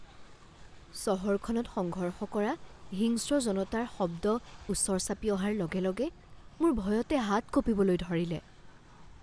চহৰখনত সংঘৰ্ষ কৰা হিংস্ৰ জনতাৰ শব্দ ওচৰ চাপি অহাৰ লগে লগে মোৰ ভয়তে হাত কঁপিবলৈ ধৰিলে।